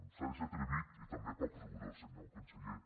s’ha de ser atrevit i també poc rigorós senyor conseller